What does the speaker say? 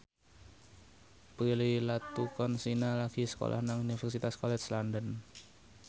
Prilly Latuconsina lagi sekolah nang Universitas College London